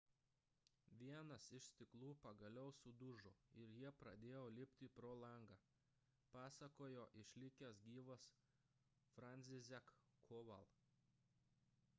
vienas iš stiklų pagaliau sudužo ir jie pradėjo lipti pro langą – pasakojo išlikęs gyvas franciszek kowal